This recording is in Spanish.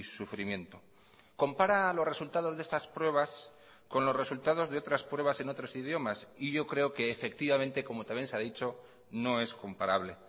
sufrimiento compara los resultados de estas pruebas con los resultados de otras pruebas en otros idiomas y yo creo que efectivamente como también se ha dicho no es comparable